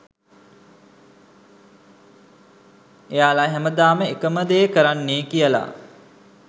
එයාලා හැමදාම එකම දේ කරන්නේ කියලා